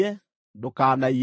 “Ndũkanaiye.